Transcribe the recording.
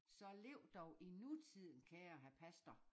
Så lev dog i nutiden kære hr pastor